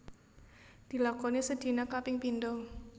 Dilakoni sedina kaping pindo